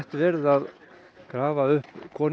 verið að grafa upp konu